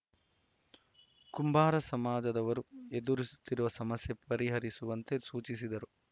ಕುಂಬಾರ ಸಮಾಜದವರು ಎದುರಿಸುತ್ತಿರುವ ಸಮಸ್ಯೆ ಪರಿಹರಿಸುವಂತೆ ಸೂಚಿಸಿದರು